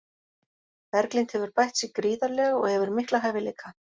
Berglind hefur bætt sig gríðarlega og hefur mikla hæfileika.